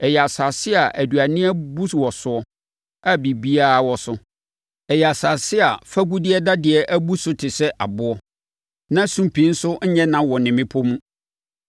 Ɛyɛ asase a aduane abu wɔ so a biribiara wɔ so; ɛyɛ asase a fagudeɛ dadeɛ abu so te sɛ aboɔ, na sumpii nso nyɛ na wɔ ne mmepɔ mu.